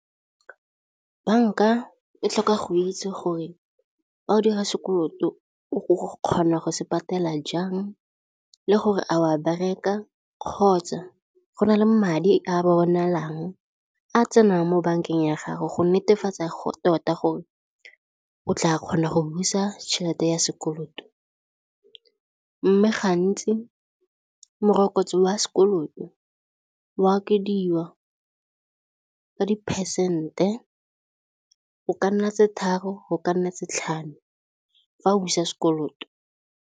Bank-a e tlhoka go itse gore ga o dira sekoloto o kgona go se patela jang le gore a wa bereka kgotsa go na le madi a bonalang a tsenang mo bankeng ya gago go netefatsa go tota gore o tla kgona go busa tšhelete ya sekoloto mme gantsi morokotso wa sekoloto wa okediwa ka di-percent-e go ka nna tse tharo go ka nna tse tlhano fa o busa sekoloto.